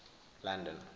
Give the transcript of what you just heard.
london